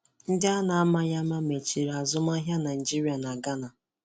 Ndị a na-amaghị a ama mechiri azụmahịa Naijiria na Ghana